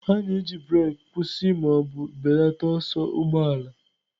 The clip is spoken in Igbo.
A na-eji breeki kwụsị ma ọ bụ belata ọsọ ụgbọ ala.